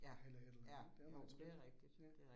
Eller et eller andet det ret spændende ja